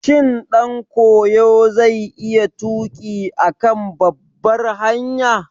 Shin ɗankoyo zai iya tuƙi a kan babbar hanya?